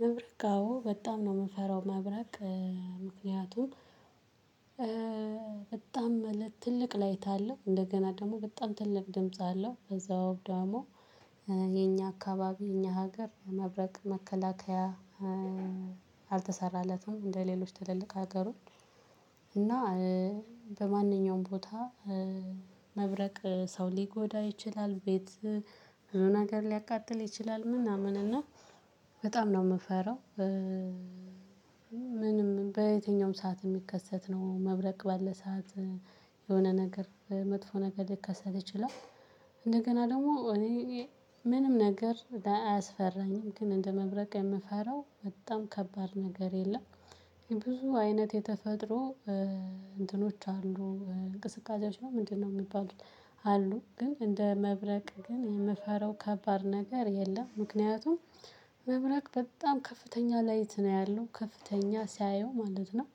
መብረቅ አዎ በጣም ነው የምንፈራው መብረቅ። ምክንያቱም በጣም ትልቅ ላይት አለው እንደገና ደግሞ በጣም ትልቅ ድምጽ አለው። ከዛ ወብደሞ የኛ አካባቢ የኛ ሀገር መብረቅ መከላከያ። አልተሰራለትም እንደሌሎች ትልልቅ ሀገሮች። እና በማንኛውም ቦታ መብረቅ ሰው ሊጎዳ ይችላል ቤት ብዙ ነገር ሊያቃጥል ይችላል ምናምን እና በጣም ነው የምፈራው። ምንም በየትኛውም ሰዓት የሚከሰት ነው መብረቅ ባለ ሰዓት የሆነ ነገር መጥፎ ነገር ልከሰት ይችላል። እንደገና ደግሞ እኔ ምንም ነገር አያስፈራኝም ግን እንደ መብረቅ የምፈራው በጣም ከባድ ነገር የለም። ብዙ አይነት የተፈጥሮ እንትኖች አሉ እንቅስቃሴዎች ነው ምንድነው የሚባሉት? አሉ ግን እንደ መብረቅ ግን የምፈራው ከባድ ነገር የለም። ምክንያቱም መብረቅ በጣም ከፍተኛ ላይት ነው ያለው ከፍተኛ ሲያየው ማለት ነው።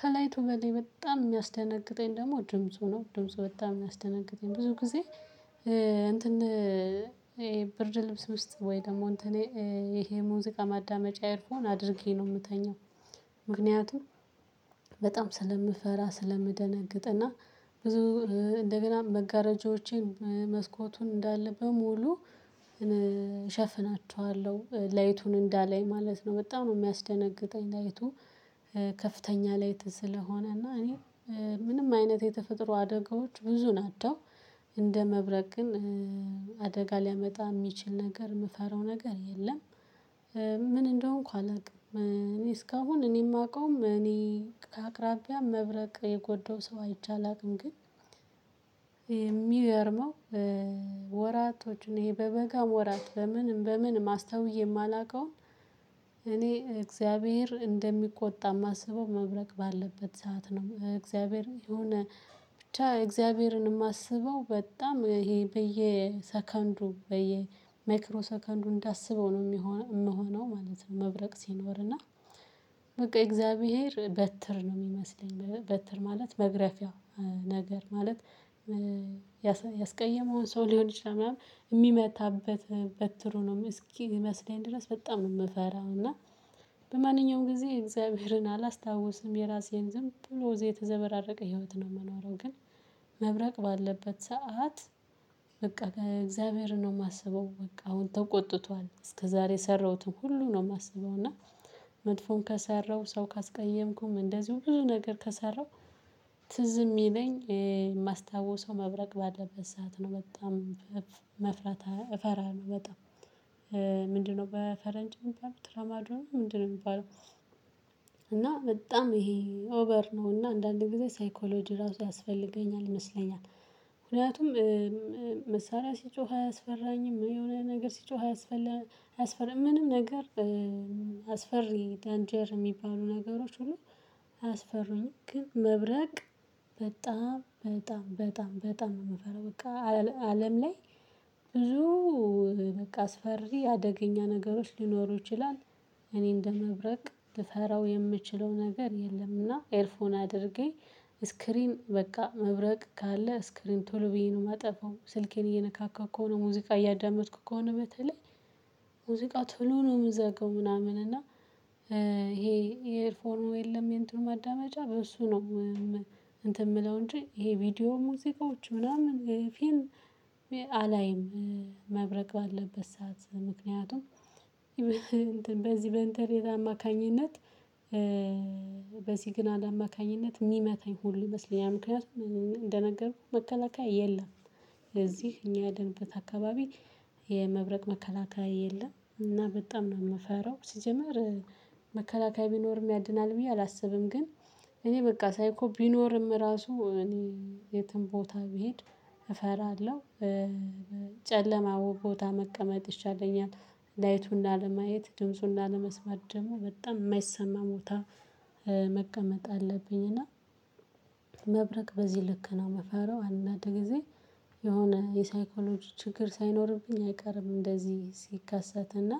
ከላይቱ በሌላ በጣም የሚያስደነግጠኝ ደግሞ ድምጽ ሆኖ ድምጽ በጣም የሚያስደነግጠኝ ብዙ ጊዜ እንትን ይሄ ብርድ ልብስ ውስጥ ወይ ደግሞ እንትኔ ይሄ ሙዚቃ ማዳመጫ ኢርፎን አድርጌ ነው የምተኛው። ምክንያቱም በጣም ስለምፈራ ስለምደነግጥ እና ብዙ እንደገና መጋረጃዎቼን መስኮቱን እንዳለ በሙሉ እሸፍናቸዋለሁ ላይቱን እንዳላይ ማለት ነው። በጣም ነው የሚያስደነግጠኝ ላይቱ ከፍተኛ ላይት ስለሆነ እና እኔ ምንም አይነት የተፈጥሮ አደጋዎች ብዙ ናቸው። እንደ መብረቅ ግን አደጋ ሊያመጣ የሚችል ነገር የምፈራው ነገር የለም። ምን እንደሆንኩ አላውቅም እኔ እስካሁን እኔ የማውቀውም እኔ አቅራቢያ መብረቅ የጎደው ሰው አይቼ አላውቅም። ግን የሚገርመው ወራቶች እኔ በበጋ ወራት ለምን በምን በምን አስተውየ የማላውቀውን እኔ እግዚአብሔር እንደሚቆጣ የማስበው መብረቅ ባለበት ሰዓት ነው። እግዚአብሔር የሆነ ብቻ እግዚአብሔርን የማስበው በጣም ይሄ በየሰከንዱ በየማይክሮ ሰከንዱ እንዳስበው ነው የምሆነው ማለት ነው። መብረቅ ሲኖርና በቃ የእግዚአብሔር በትር ነው የሚመስለኝ በትር ማለት መግረፊያ ነገር ማለት ያስቀየመውን ሰው ሊሆን ይችላል ምናምን የሚመታበት በትር ነው እስኪመስለኝ ድረስ በጣም ነው የምፈራው። እና በማንኛውም ጊዜ እግዚአብሔርን አላስታውስም የራሴን ዝም ብሎ እዚህ የተዘበራረቀ ህይወት ነው የምኖረው። ግን መብረቅ ባለበት ሰዓት በቃ ከእግዚአብሔር ነው የማስበው በቃ አሁን ተቆጥቷል እስከዛሬ የሰራሁትን ሁሉ ነው የማስበው እና መጥፎን ከሰራሁ ሰው ካስቀየምኩም እንደዚሁ ብዙ ነገር ከሰራሁ ትዝ የሚለኝ የማስታውሰው መብረቅ ባለበት ሰዓት ነው። በጣም መፍራት እፈራለሁ በጣም ምንድነው በፈረንጅ እሚባል ትራማዶ ትራማዶና ምንድነው የሚባለው? እና በጣም ይሄ ኦቨር ነው እና አንዳንዴ ጊዜ ሳይኮሎጂ ራሱ ያስፈልገኛል ይመስለኛል። ምክንያቱም መሳሪያ ሲጮህ አያስፈራኝም የሆነ ነገር ሲጮህ አያስፈራም ምንም ነገር አስፈሪ ዳንጀር የሚባሉ ነገሮች ሁሉ አያስፈሩኝም። ግን መብረቅ በጣም በጣም በጣም በጣም ነው የምፈራው በቃ አለም ላይ ብዙ በቃ አስፈሪ አደገኛ ነገሮች ሊኖሩ ይችላል። እኔ እንደ መብረቅ ልፈራው የምችለው ነገር የለምና ኤርፎን አድርጌ ስክሪን በቃ መብረቅ ካለ ስክሪን ቶሎ ብዬ ነው የማጠፋው። ስልኬን እየነካካሁ ከሆነ ሙዚቃ እያዳመጥኩ ከሆነ በተለይ ሙዚቃ ትሉ ነው የምዘገው ምናምን እና ይሄ የኤርፎርኑ የለም የእንትኑ ማዳመጫ በእሱ ነው። እንትን የምለው እንጂ ይሄ ቪዲዮ ሙዚቃዎች ምናምን ፊልም አላይም። መብረቅ ባለበት ሰዓት ምክንያቱም እንትን በዚህ በኢንተርኔት አማካኝነት በሲግናል አማካኝነት የሚመታኝ ሁሉ ይመስለኛል ምክንያቱም እንደነገርኩህ መከላከያ የለም። እዚህ እኛ ያደነበት አካባቢ የመብረቅ መከላከያ የለም እና በጣም ነው የምፈራው። ሲጀመር መከላከያ ቢኖርም ያድናል ብዬ አላስብም ግን እኔ በቃ ሳይኮ ቢኖርም ራሱ እኔ የትም ቦታ ብሄድ እፈራለሁ። ጨለማው ቦታ መቀመጥ ይሻለኛል ላይቱን ላለማየት ድምፁን ላለመስማት ደግሞ በጣም የማይሰማ ቦታ መቀመጥ አለብኝ። እና መብረቅ በዚህ ልክ ነው መፈራው። አንዳንድ ጊዜ የሆነ የሳይኮሎጂ ችግር ሳይኖርብኝ አይቀርም። እንደዚህ ሲከሰት እና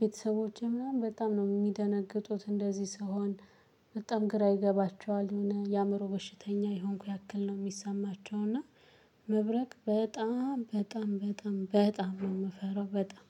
ቤተሰቦቼ ምናምን በጣም ነው የሚደነግጡት እንደዚህ ስሆን በጣም ግራ ይገባቸዋል የሆነ የአእምሮ በሽተኛ የሆንኩ ያክል ነው የሚሰማቸው። እና መብረቅ በጣም በጣም በጣም በጣም ነው የምፈራው በጣም